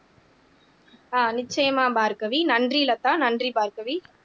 ஆஹ் நிச்சயமா பார்கவி நன்றி லதா நன்றி பார்கவி